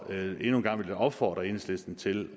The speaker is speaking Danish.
endnu en gang vil jeg opfordre enhedslisten til